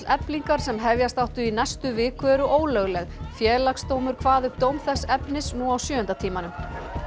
Eflingar sem hefjast áttu í næstu viku eru ólögleg Félagsdómur kvað upp dóm þess efnis nú á sjöunda tímanum